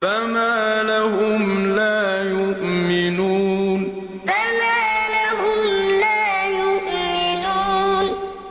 فَمَا لَهُمْ لَا يُؤْمِنُونَ فَمَا لَهُمْ لَا يُؤْمِنُونَ